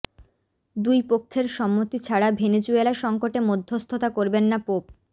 দুই পক্ষের সম্মতি ছাড়া ভেনেজুয়েলা সংকটে মধ্যস্থতা করবেন না পোপ